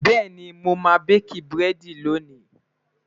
bẹẹni, moma baki burẹdi lóni